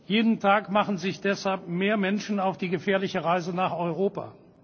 Jeden Tag machen sich deshalb mehr Menschen auf die gefährliche Reise nach Europa.